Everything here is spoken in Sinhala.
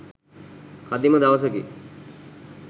කදිම දවසකි.